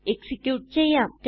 execute ചെയ്യാം